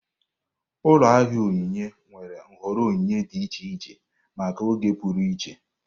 Ụlọ ahịa ihe onyinye nwere nhọrọ onyinye dị iche iche maka oge pụrụ iche.